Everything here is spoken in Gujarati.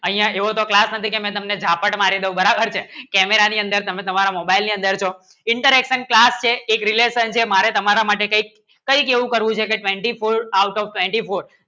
અહીંયા એવો તો ક્લાસ નથી કેમ ઝાપડા મારી દો બરાબર છે Camera ની અંદર તમે તમારા મોબઈલ ની અંદર છો interaction ક્યાં છે આ રિલેશન છે મારે તમારા માટે કંઈક એવું કરવું છે કે Twenty-Four આઉટ ઓફ Twenty-Four